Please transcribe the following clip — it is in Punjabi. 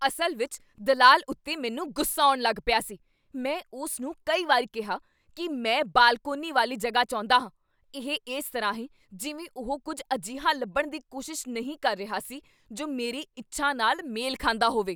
ਅਸਲ ਵਿੱਚ ਦਲਾਲ ਉੱਤੇ ਮੈਨੂੰ ਗੁੱਸਾ ਆਉਣ ਲੱਗ ਪਿਆ ਸੀ। ਮੈਂ ਉਸ ਨੂੰ ਕਈ ਵਾਰ ਕਿਹਾ ਕੀ ਮੈਂ ਬਾਲਕੋਨੀ ਵਾਲੀ ਜਗ੍ਹਾ ਚਾਹੁੰਦਾ ਹਾਂ। ਇਹ ਇਸ ਤਰ੍ਹਾਂ ਹੈ ਜਿਵੇਂ ਉਹ ਕੁੱਝ ਅਜਿਹਾ ਲੱਭਣ ਦੀ ਕੋਸ਼ਿਸ਼ ਨਹੀਂ ਕਰ ਰਿਹਾ ਸੀ ਜੋ ਮੇਰੀ ਇੱਛਾ ਨਾਲ ਮੇਲ ਖਾਂਦਾ ਹੋਵੇ।